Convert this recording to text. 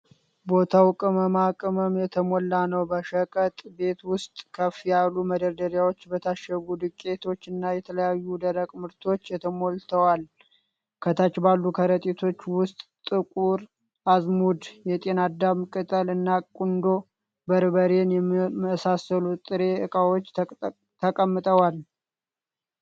ቦታው ቅመማ ቅመም የተሞላ ነው። በሸቀጥ ቤት ውስጥ፣ ከፍ ያሉ መደርደሪያዎች በታሸጉ ዱቄቶችና የተለያዩ ደረቅ ምርቶች ተሞልተዋል። ከታች ባሉ ከረጢቶች ውስጥ ጥቁር አዝሙድ፣ የጤናዳም ቅጠል እና ቁንዶ በርበሬን የመሳሰሉ ጥሬ እቃዎች ተቀምጠዋል።